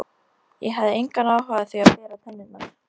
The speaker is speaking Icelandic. Ég hafði engan áhuga á því að bera tennurnar.